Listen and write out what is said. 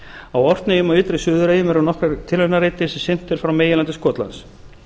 á orkneyjum og ytri suðureyjum eru nokkrir tilraunareitir sem sinnt er frá meginlandi skotlands